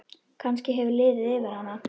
Kannski hefur liðið yfir hana?